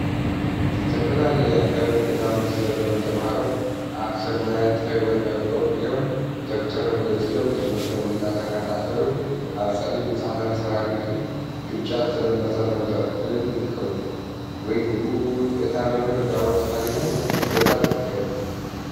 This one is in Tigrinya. ዝተፈላለየ ሕብሪ ክዳውንቲ ዘለዎም ተምሃሮ አብ ስርናየታይ ወንበር ኮፍ ኢሎም ደፍተሮም ገንፂሎም ትምህርቶም እናተከታተሉ አብ ፀሊምን ፃዕዳን ሰራሚክን ብጫ ዝተለመፀ መንደቅ ክፍሊን ይርከቡ፡፡ ወይ ጉድ! እታ መምህር ጋቦን ተከዲና ንድሕሪ ገፃ ትርከብ፡፡